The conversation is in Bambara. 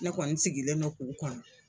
Ne kɔni sigilen no k'u kɔnɔ.